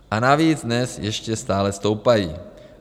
A navíc dnes ještě stále stoupají.